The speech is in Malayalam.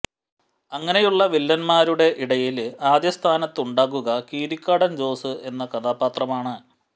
അങ്ങനെയുള്ള വില്ലന്മാരുടെ ഇടയില് ആദ്യ സ്ഥാനത്തുണ്ടാകുക കീരിക്കാടന് ജോസ് എന്ന കഥാപാത്രമാണ്